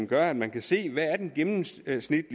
gør at man kan se hvad den gennemsnitlige